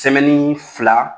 Sɛmɛnni fila